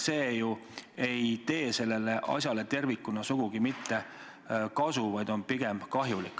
See ei tule ju tervikuna sugugi kasuks, vaid on pigem kahjulik.